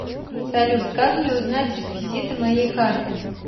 салют как мне узнать реквизиты моей карты